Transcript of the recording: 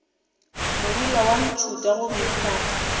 morula wa ntšhutha gomme ka